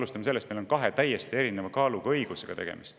Esiteks, meil on tegemist kahe täiesti erinevat kaalu õigusega.